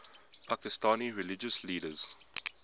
pakistani religious leaders